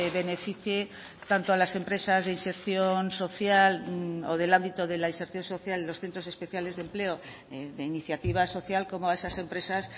beneficie tanto a las empresas de inserción social o del ámbito de la inserción social los centros especiales de empleo de iniciativa social como a esas empresas